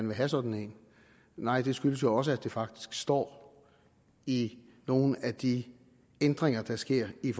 vil have sådan en nej det skyldes også at det faktisk står i nogle af de ændringer der sker i